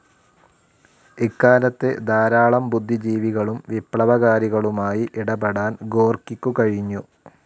ഇക്കാലത്ത് ധാരാളം ബുദ്ധിജീവികളും വിപ്ലവകാരികളുമായി ഇടപെടാൻ ഗോർക്കിക്കു കഴിഞ്ഞു.